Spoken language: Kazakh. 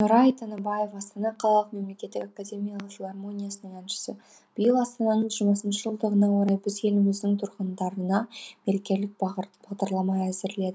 нұрай тыныбаев астана қалалық мемлекеттік академиялық филармониясының әншісі биыл астананың жиырма жылдығына орай біз еліміздің тұрғындарына мерекелік бағдарлама әзірледік